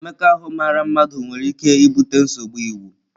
Mmekọahụ mara mmadụ ahụ nwere ike ibute nsogbu iwu.